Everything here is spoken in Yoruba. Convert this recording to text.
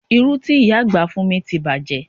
Irú ti ìyá àgbà fún mi ti bàjé